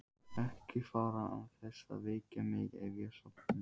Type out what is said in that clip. Ekki fara án þess að vekja mig ef ég sofna.